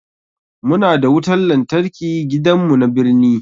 Muna da wutan lantarki gidan mu na birni